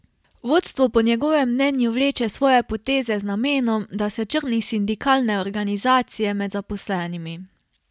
Vodstvo po njegovem mnenju vleče svoje poteze z namenom, da se črni sindikalne organizacije med zaposlenimi.